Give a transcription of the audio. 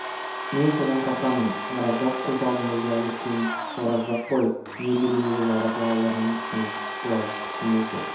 мен содан қорқамын оразбақ көз алдымызда өскен оразбақ қой ел билеуге жаратылған адамның пішіні бұлай пішілмесе